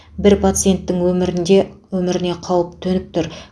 бір пациенттің өмірінде өміріне қауіп төніп тұр